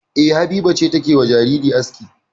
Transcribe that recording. E, Habiba ce take wa jariri aski.